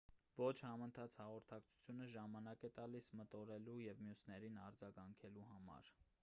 ոչ համընթաց հաղորդակցությունը ժամանակ է տալիս մտորելու և մյուսներին արձագանքելու համար